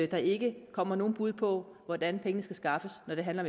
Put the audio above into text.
der ikke kommer nogle bud på hvordan pengene skal skaffes når det handler